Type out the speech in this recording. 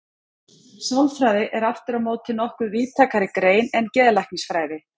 Sálfræði er aftur á móti nokkuð víðtækari grein en geðlæknisfræði.